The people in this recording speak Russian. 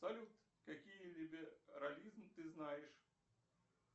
салют какие виды рализм ты знаешь